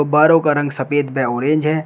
बारों का रंग सफेद व ऑरेंज है।